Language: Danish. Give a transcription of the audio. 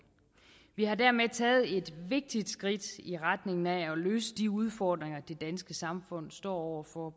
vi har dermed taget et vigtigt skridt i retning af at løse de udfordringer det danske samfund står over for